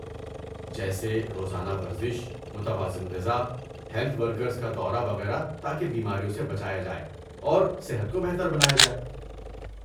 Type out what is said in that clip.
جیسے روزانہ ورزش، متوازن غذا، ہیلت ورکرز کا دورہ وغیرہ تاکہ بیماریوں سے بچایا جائے اور صحت کو بہتر بنایا جائے۔